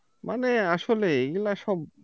মানে আসলে এগুলা সব